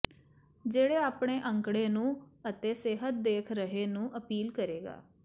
ਜਿਹੜੇ ਆਪਣੇ ਅੰਕੜੇ ਨੂੰ ਅਤੇ ਸਿਹਤ ਦੇਖ ਰਹੇ ਨੂੰ ਅਪੀਲ ਕਰੇਗਾ